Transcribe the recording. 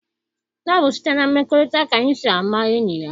Ọ bụ site na mmekọrịta ka enyi sị ama enyi ya.